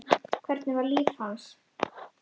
Hvernig var líf hans?